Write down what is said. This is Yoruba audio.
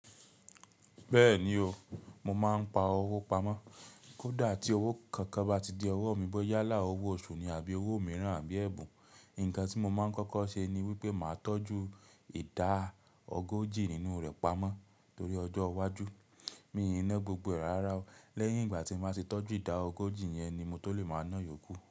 Bẹ́ẹ̀ni o, mo máa ń pa owó pamọ́. Kódà tí owó kankan bá ti de ọwọ́ mi bọ́ yálà owó oṣù ni àbí owó mìíràn àbí ẹ̀bùn, nǹkan tí mo máa ń kọ́kọ́ ṣe ni wípé màá tọ́jú ìdá ọ góòjì nínú rẹ̀ pamọ́ torí ọjọ́ iwájú. Mi o níná gbogbo ẹ̀ rárá o. Lẹ́yìn ìgbà tí mo bá ti tọ́jú ìdá ọ góòjì yẹn ni mo tó lè máa náà yòókù.